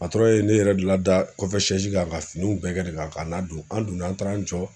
ne yɛrɛ de lada kɔfɛ ka finiw bɛɛ kɛ de kan ka ladon an donna an taara an jɔ.